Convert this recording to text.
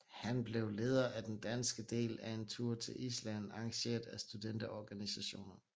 Han blev leder af den danske del af en tur til Island arrangeret af studenterorganisationer